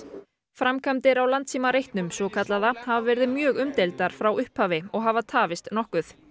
framkvæmdir á svokallaða hafa verið mjög umdeildar frá upphafi og hafa tafist nokkuð